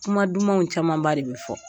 Kuma dumanw camanba de bɛ fɔ